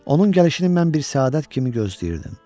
Onun gəlişini mən bir səadət kimi gözləyirdim.